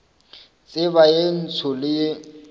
tseba ye ntsho le ye